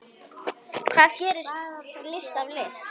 Hvað gerir list að list?